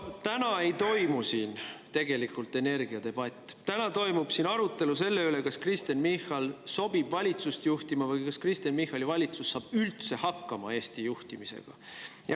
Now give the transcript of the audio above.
Täna ei toimu siin tegelikult energiadebatt, täna toimub siin arutelu selle üle, kas Kristen Michal sobib valitsust juhtima või kas Kristen Michali valitsus saab üldse hakkama Eesti juhtimisega.